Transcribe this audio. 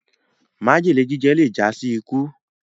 májèlé jíjẹ le já sí ikú